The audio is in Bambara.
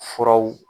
Furaw